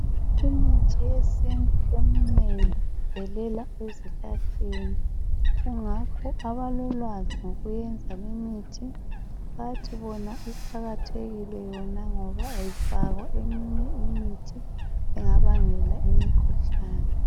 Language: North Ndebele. Imithi yesintu eminengi ivelela ezihlahleni kungakho abalolwazi ngokwenza limithi bathi bona iqakathekile yona ngoba ayifakwa eminye imithi engabangela imikhuhlane